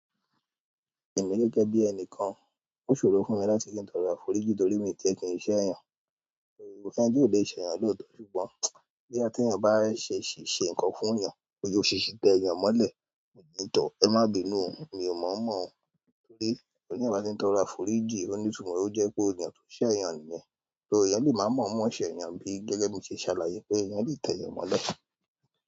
Èmi gẹ́gẹ́ bí ẹni kan, ó ṣòro fún mi láti kí n tọrọ àforíjì torí mi tiẹ̀ kì n ṣẹ̀ èèyàn. Kò sẹ́ni tí ò le ṣẹ̀yàn lóòótọ́ ṣùgbọ́n bí èèyàn bá ṣèèṣì ṣe nǹkan fún èèyàn, bóyá o ṣèèṣì tẹ èèyàn mọ́lẹ̀, ẹ má bìnú, mi ò mọ̀ ọ́ mọ̀ o torí tí èèyàn bá ti n tọrọ àforíjì onítùúmọ̀, ó jẹ́ pé ènìyàn tó ṣẹ̀ èèyàn nìyẹn. So èèyàn lè má mọ̀ ọ́ mọ́ ṣẹ̀ èèyàn bí gẹ́gẹ́ bó ṣe ṣàlàyé pé èèyàn lè tẹ èèyàn mọ́lẹ̀.